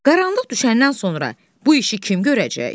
Qaranlıq düşəndən sonra bu işi kim görəcək?